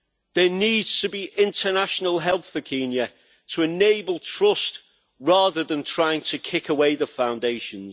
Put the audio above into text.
There needs to be international help for Kenya to enable trust, rather than trying to kick away the foundations.